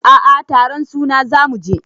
A a taron suna za mu je.